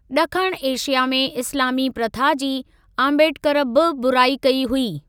ॾखण एशिया में इस्‍लामी प्रथा जी आंबेडकर बि बुराई कई हुई।